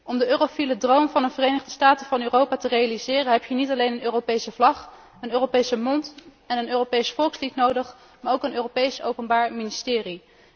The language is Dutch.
Om de eurofiele droom van een Verenigde Staten van Europa te realiseren, heb je niet alleen een Europese vlag, een Europese munt en een Europees volkslied nodig, maar ook een Europees Openbaar Ministerie.